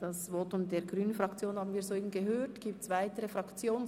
Das Votum der grünen Fraktion haben wir soeben gehört.